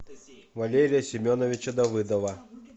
валерия семеновича давыдова